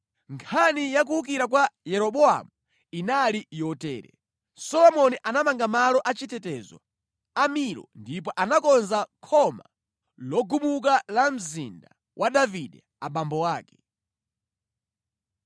Nkhani ya kuwukira kwa Yeroboamu inali yotere: Solomoni anamanga malo a chitetezo a Milo ndipo anakonza khoma logumuka la mzinda wa Davide, abambo ake.